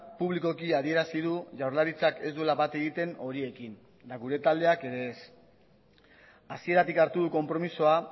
publikoki adierazi du jaurlaritzak ez duela bat egiten horiekin eta gure taldeak ere ez hasieratik hartu du konpromisoa